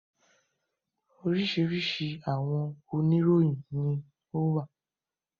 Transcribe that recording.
Oríṣiríṣi àwọn oníròyìn ní o wà.